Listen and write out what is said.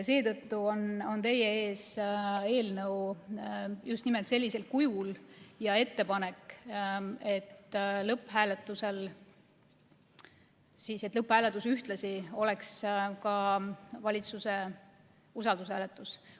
Seetõttu on teie ees eelnõu just nimelt sellisel kujul, ja ettepanek, et lõpphääletus ühtlasi oleks ka valitsuse usaldushääletus.